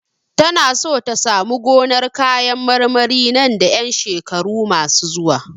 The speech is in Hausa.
Tana so ta samu gonar kayan marmari nan da ƴan shekaru masu zuwa.